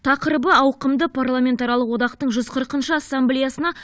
тақырыбы ауқымды парламентаралық одақтың жүз қырқыншы ассамблеясына